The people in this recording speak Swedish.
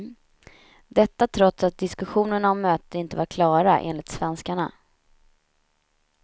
Detta trots att diskussionerna om mötet inte var klara, enligt svenskarna.